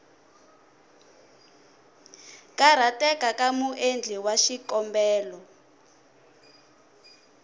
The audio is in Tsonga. karhateka ka muendli wa xikombelo